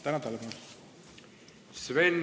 Tänan tähelepanu eest!